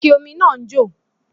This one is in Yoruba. Ike ómi náà ń jò